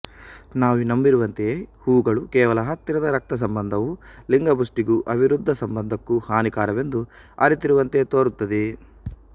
ನಾವು ನಂಬಿರುವಂತೆಯೇ ಹೂಗಳೂ ಕೇವಲ ಹತ್ತಿರದ ರಕ್ತಸಂಬಂಧವು ಲಿಂಗಪುಷ್ಟಿಗೂ ಅವಿರುದ್ಧ ಸಂಬಂಧಕ್ಕೂ ಹಾನಿಕರವೆಂದು ಅರಿತಿರುವಂತೆ ತೋರುತ್ತದೆ